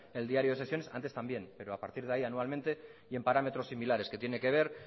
en el diario de sesiones antes también pero a partir de ahí anualmente y en parámetros similares que tiene que ver